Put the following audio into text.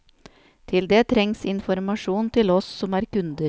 Til det trengs informasjon til oss som er kunder.